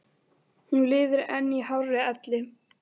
Hún lifir enn í hárri elli.